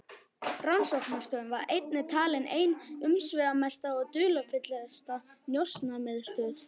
Rannsóknarstöðin var einnig talin ein umsvifamesta og dularfyllsta njósnamiðstöð